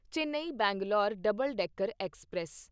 Chennai Bangalore double decker express